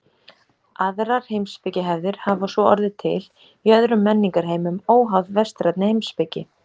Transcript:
Aðrar heimspekihefðir hafa svo orðið til í öðrum menningarheimum óháð vestrænni heimspeki.